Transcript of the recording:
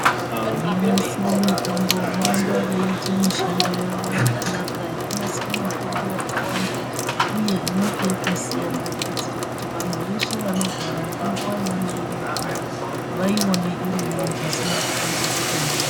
Vanonasire mitombo voramba veyiite mishando yavo yakanaka yekunasire mitombo yakawanda uye inenge yakasiyana kuitire kuti vantu veshe vanorwara ngenguwa yavanode mitombo vaione irimwo pasina kutambudzika ndiyo.